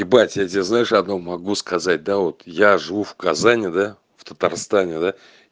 ебать я тебя знаешь одно могу сказать да вот я живу в казани да в татарстане да